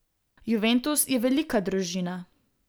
Juventus je velika družina.